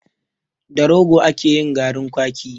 Da Rogo ake yin garin kwaki.